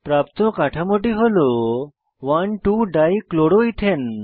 প্রাপ্ত কাঠামোটি হল 12 ডাইক্লোরোইথেন